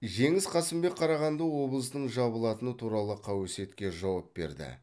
жеңіс қасымбек қарағанды облысының жабылатыны туралы қауесетке жауап берді